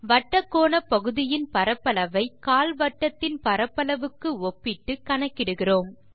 வட்டக்கோணப்பகுதியின் பரப்பளவை கால்வட்டத்தின் பரப்பளவுக்கு ஒப்பிட்டு கணக்கிடுகிறோம்